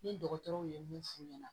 Ni dɔgɔtɔrɔw ye mun f'u ɲɛna